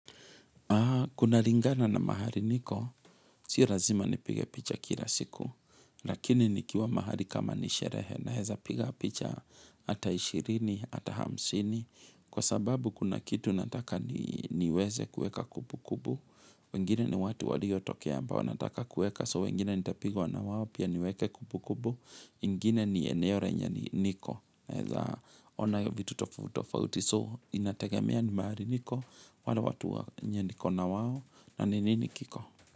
Kuna lingana na mahali niko, si lazima nipige picha kila siku, lakini nikiwa mahali kama ni sherehe naeza piga picha ata ishirini, ata hamsini, kwa sababu kuna kitu nataka niweze kueka kumbukumbu, wengine ni watu waliotokea ambao nataka kueka, so wengine nitapigwa na wao pia niweke kumbukumbu, ingine ni eneo lenye niko naeza ona ya vitu tofutofauti so inategemea ni mahali niko wale watu wenye niko na wao na ni nini kiko.